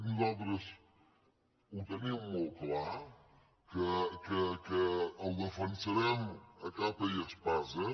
nosaltres ho tenim molt clar que el defensarem a capa i espasa